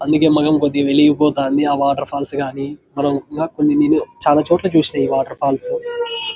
అందుకే మొకం కొద్దిగా వెలిగిపోతాంది ఆ వాటర్ ఫాల్స్ గని ఇంకా కొన్ని చాల చోట్ల చూసా ఈ వాటర్ ఫేల్స్ --